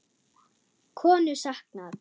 Konu saknað